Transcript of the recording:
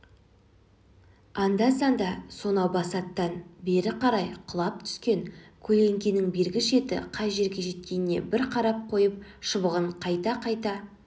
аңда-санда сонау басаттан бері қарай құлап түскен көлеңкенің бергі шеті қай жерге жеткеніне бір қарап қойып шыбығын қайта